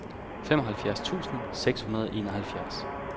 femoghalvfjerds tusind seks hundrede og enoghalvfjerds